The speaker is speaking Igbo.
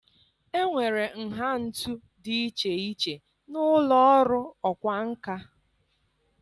Enwere nha ntu dị iche iche na ụlọ ọrụ ọkwá nkà.